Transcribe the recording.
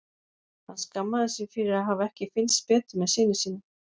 Hann skammaðist sín fyrir að hafa ekki fylgst betur með syni sínum.